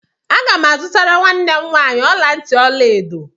Agam azutara nwam nwanyị ọla ntị ọla edo.